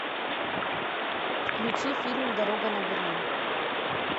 включи фильм дорога на берлин